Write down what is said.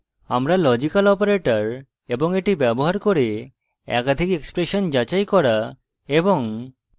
আমরা logical operators এবং এটি ব্যবহার করে একাধিক এক্সপ্রেশন যাচাই করা এবং